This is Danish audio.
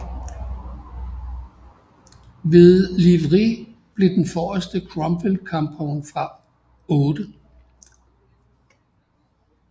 Ved Livry blev den forreste Cromwell kampvogn fra 8